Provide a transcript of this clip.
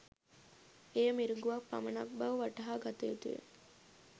එය මිරිඟුවක් පමණක් බව වටහා ගත යුතුය.